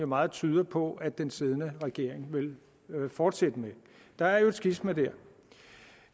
meget tyder på at den siddende regering vil fortsætte med der er et skisma der